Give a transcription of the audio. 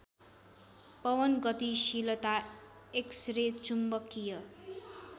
पवनगतिशीलता x-ray चुम्बकीय